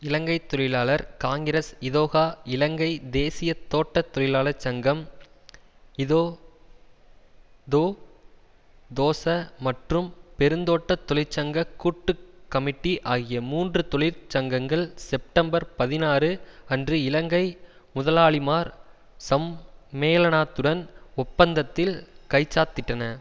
இலங்கை தொழிலாளர் காங்கிரஸ் இதொகா இலங்கை தேசிய தோட்ட தொழிலாளர் சங்கம் இதோதோதோச மற்றும் பெருந்தோட்ட தொழிற்சங்க கூட்டு கமிட்டி ஆகிய மூன்று தொழிற் சங்கங்கள் செப்டெம்பர் பதினாறு அன்று இலங்கை முதலாளிமார் சம்மேளனாத்துடன் ஒப்பந்தத்தில் கைச்சாத்திட்டன